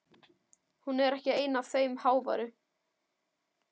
Hún er ekki ein af þeim háværu.